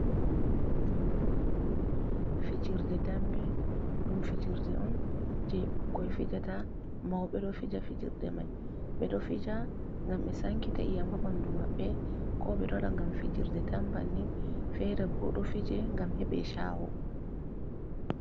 Fijirde dambe ɗum fijirde on je ɓukkoi fijata, mauɓe ɗo fija fijirde mai. Ɓeɗo fija ngam ɓe sankita iyam haa ɓandu maɓɓe, ko ɓeɗo waɗa ngam fijirde tan banin, fere bo ɗo fije ngam heɓe chahu.